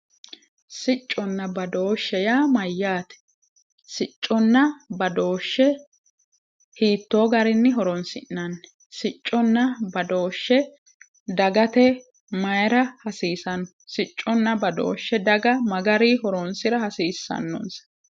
sicconna badooshshe yaa mayyaate sicconna badooshshe hiittoo garinni horoonsi'nanni siccunna badooshshu dagate mayira hasiisanno sicconna badooshshe daga ma garinni horoonsira hasiissannonsa.